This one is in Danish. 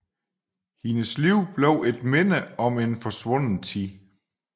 Hendes liv bliver et minde om en forsvunden tid